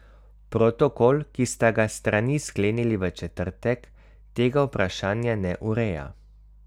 Protokol, ki sta ga strani sklenili v četrtek, tega vprašanja ne ureja.